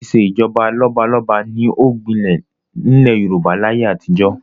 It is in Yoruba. Ìṣèjọba lọ́balọ́ba ni ó gbinlẹ̀ ní ilẹ̀ Yorùbá láyé àtijọ́